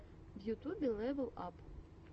в ютубе лэвел ап